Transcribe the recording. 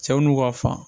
Cɛw n'u ka fan